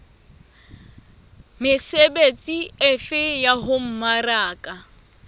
mesebetsi efe ya ho mmaraka